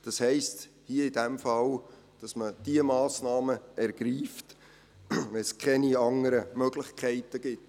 Das heisst hier in diesem Fall, dass man diese Massnahmen ergreift, wenn es keine anderen Möglichkeiten gibt.